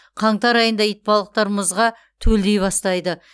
қаңтар айында итбалықтар мұзға төлдей бастайды